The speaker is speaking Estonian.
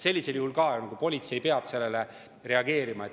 Sellisel juhul politsei peab reageerima.